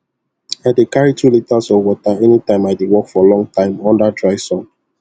i dey carry two litres of water anytime i dey work for long time under dry sun